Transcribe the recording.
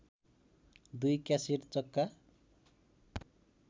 दुई क्यासेट चक्का